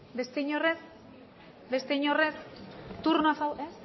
beste inork ez beste inork ez eh